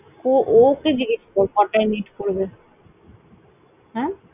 কো ও কে জিজ্ঞেস কর কটায় meet করবে অ্যাঁ?